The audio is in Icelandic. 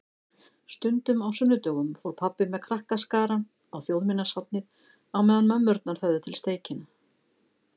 Stundum á sunnudögum fór pabbi með krakkaskarann á Þjóðminjasafnið á meðan mömmurnar höfðu til steikina.